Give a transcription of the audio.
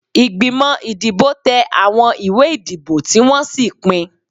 Ìgbìmọ̀ ìdìbò tẹ àwọn ìwé ìdìbò tí wọ́n sì pín.